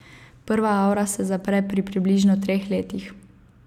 Prva avra se zapre pri približno treh letih.